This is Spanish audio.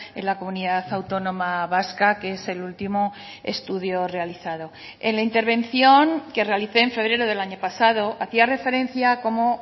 en la comunidad autónoma vasca que es el último estudio realizado en la intervención que realicé en febrero del año pasado hacía referencia cómo